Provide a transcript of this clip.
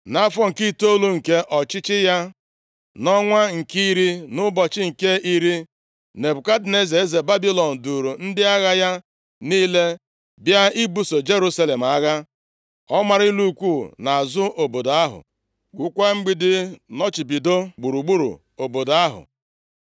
Nʼafọ nke itoolu nke ọchịchị ya, nʼọnwa nke iri, nʼụbọchị nke iri, Nebukadneza, eze Babilọn duuru ndị agha ya niile bịa ibuso Jerusalem agha. Ọ mara ụlọ ikwu nʼazụ obodo ahụ, wukwaa mgbidi nnọchibido gburugburu obodo ahụ.